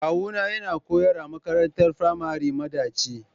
kawuna yana koyarwa a makarantar firamari madaci.